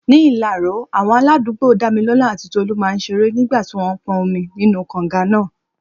Ní Ilaro, àwọn aládùúgbò Dámilọ́lá àti Tolú máa ń ṣeré nígbà tí wọ́n ń pọn omi nínú kànga náà.